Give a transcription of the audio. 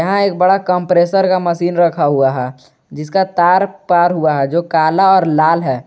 यहां एक बड़ा कंप्रेसर का मशीन रखा हुआ जिसका तार पार हुआ है जो काला और लाल है।